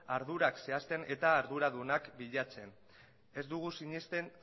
ardurak zehazten eta arduradunak bilatzen ez dugu sinesten